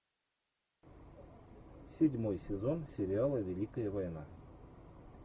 седьмой сезон сериала великая война